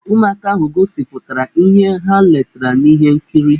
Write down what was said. Ụmụaka ahụ gosipụtara ihe ha letere n'ihe nkiri.